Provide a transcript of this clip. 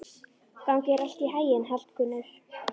Gangi þér allt í haginn, Hallgunnur.